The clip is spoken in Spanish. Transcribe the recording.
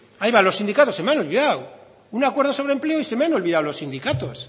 ahí va los sindicatos se me han olvidado un acuerdo sobre empleo y se me han olvidado los sindicatos